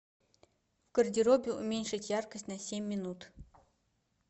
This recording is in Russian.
в гардеробе уменьшить яркость на семь минут